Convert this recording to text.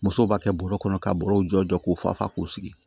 Musow b'a kɛ bɔrɔ kɔnɔ ka bɔrɔw jɔ k'u fa fa k'u sigi